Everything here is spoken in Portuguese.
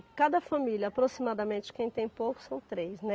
Cada família, aproximadamente, quem tem pouco são três, né?